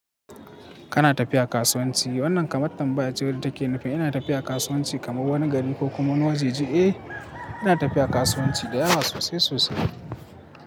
Kana tafiya kasuwanci. Wannan kamar tambayar jiya wadda ta ke nufi. Ina tafiya kasuwanci kamar wani gari ko kuma wani wajaje. Eh, ina tafiya kasuwanci da yawa sosai sosai.